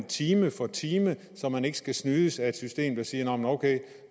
time for time så man ikke skal snydes af et system som siger ok